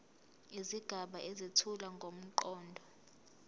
izigaba ezethula ngomqondo